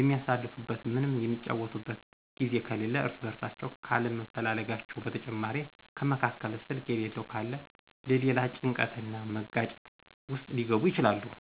የሚአሳልፉበት ወይም የሚጫወቱበት ጊዜ ከሌለ እርስ በእርሳቸው ካለመፈላለጋቸው በተጨማሪ ከመካከል ስልክ የሌለው ካለ ለሌላ ጭንቀት እና መጋጨት ውስጥ ሊገቡ ይችላሉ።